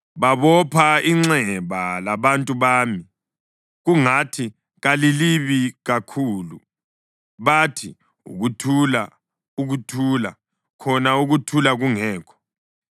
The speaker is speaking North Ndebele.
Babopha inxeba labantu bami kungathi kalilibi kakhulu. Bathi, ‘Ukuthula, ukuthula,’ khona ukuthula kungekho.